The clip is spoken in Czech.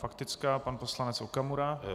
Faktická, pan poslanec Okamura.